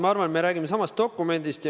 Ma arvan, et me räägime samast dokumendist.